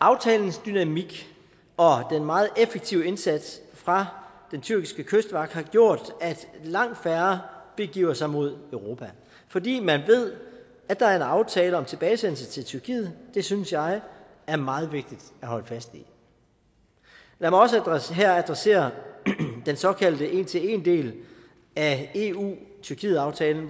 aftalens dynamik og den meget effektive indsats fra den tyrkiske kystvagt har gjort at langt færre begiver sig mod europa fordi man ved at der er en aftale om tilbagesendelse til tyrkiet det synes jeg er meget vigtigt at holde fast i lad mig også også her adressere den såkaldte en til en del af eu tyrkiet aftalen